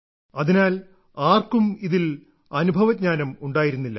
അതിനാൽ ആർക്കും ഇതിൽ അനുഭവജ്ഞാനം ഉണ്ടായിരുന്നില്ല